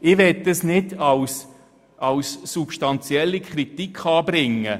Dies möchte ich nicht im Sinne einer substanziellen Kritik anbringen.